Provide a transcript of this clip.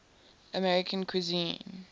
american cuisine